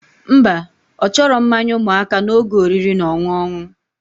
Mba, ochoro mmanya umuaka na oge oriri na oṅụoṅụ